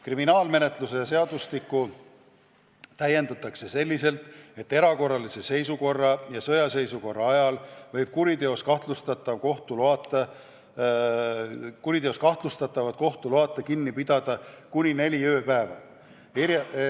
Kriminaalmenetluse seadustikku täiendatakse selliselt, et erakorralise seisukorra ja sõjaseisukorra ajal võib kuriteos kahtlustatavat kohtu loata kinni pidada kuni neli ööpäeva.